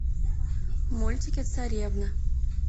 мультики царевна